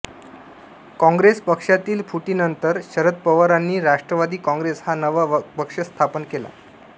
कॉॅंग्रेस पक्षातील फुटीनंतर शरद पवारांनी राष्ट्रवादी कॉॅंग्रेस हा नवा पक्ष स्थापन केला